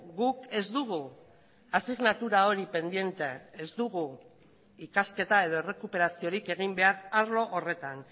guk ez dugu asignatura hori pendiente ez dugu ikasketa edo errekuperaziorik egin behar arlo horretan